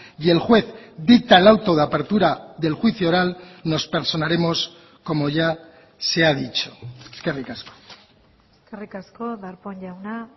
y el juez dicta el auto de apertura del juicio oral nos personaremos como ya se ha dicho eskerrik asko eskerrik asko darpón jauna